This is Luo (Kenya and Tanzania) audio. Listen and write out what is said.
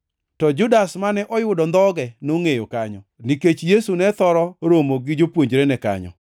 To Judas, mane oyudo ondhoge, nongʼeyo kanyo, nikech Yesu ne thoro romo gi jopuonjrene kanyo.